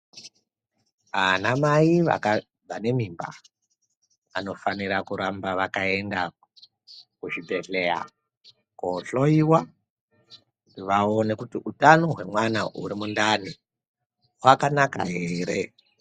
Anamai vaka vane mimba, anofanira kuramba vakaenda kuzvibhedhleya koohloiwa, kuti vaone kuti utano hwemwana uri mundani, hwakanaka here